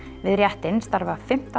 við réttinn starfa fimmtán